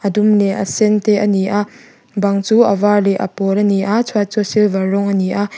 dum leh a sen te a ni a bang chu a var leh a pawl a ni a chhuat chu silver rawng a ni a.